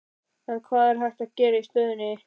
En hvað er hægt að gera í stöðunni?